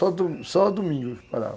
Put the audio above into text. Só domingo que parava.